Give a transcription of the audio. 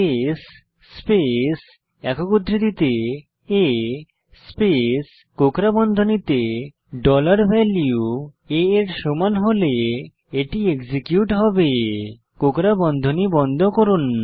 case space একক উদ্ধৃতিতে a space কোকড়া বন্ধনীতে ডলার ভ্যালিউ a এর সমান হলে এটি এক্সিকিউট হবে কোকড়া বন্ধনী বন্ধ করুন